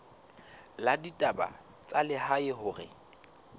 la ditaba tsa lehae hore